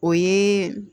O ye